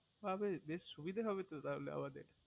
অরে বেশ সুবিধা হবে তো তাহলে আমাদের